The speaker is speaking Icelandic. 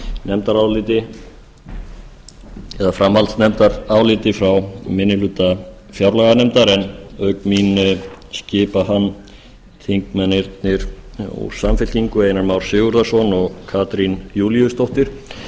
nefndaráliti eða framhaldsnefndaráliti frá minni hluta fjárlaganefndar en auk mín skipa hann þingmennirnir úr samfylkingu einar már sigurðarson og katrín júlíusdóttir